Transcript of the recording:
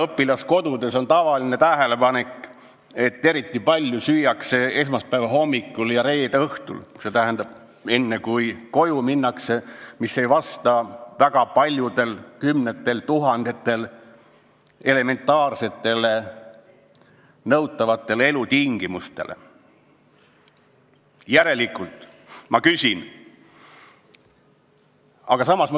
Õpilaskodudes on tavaline tähelepanek, et eriti palju süüakse esmaspäeva hommikul ja reede õhtul, st kui tullakse kodust või minnakse koju, kus ei ole väga paljudel, kümnetel tuhandetel lastel elementaarseid elutingimusi.